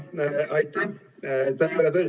Aitäh!